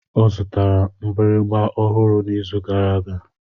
Ọ zụtara mgbịrịgba ọhụrụ n'izu gara aga.